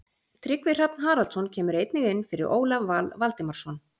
Tryggvi Hrafn Haraldsson kemur einnig inn fyrir Ólaf Val Valdimarsson.